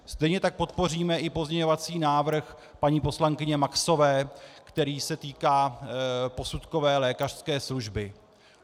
Stejně tak podpoříme i pozměňovací návrh paní poslankyně Maxové, který se týká posudkové lékařské služby.